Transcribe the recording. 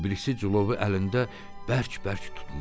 O birisi cilovu əlində bərk-bərk tutmuşdu.